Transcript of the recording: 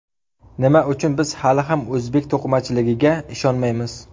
Nima uchun biz hali ham o‘zbek to‘qimachiligiga ishonmaymiz?